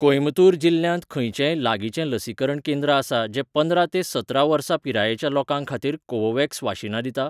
कोइंबतूर जिल्ल्यांत खंयचेंय लागींचें लसीकरण केंद्र आसा जें पंदरा ते सतरा वर्सां पिरायेच्या लोकां खातीर कोवोव्हॅक्स वाशीनां दिता?